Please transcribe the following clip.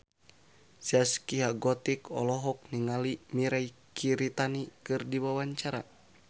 Zaskia Gotik olohok ningali Mirei Kiritani keur diwawancara